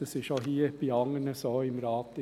das ist hier auch bei anderen im Rat so.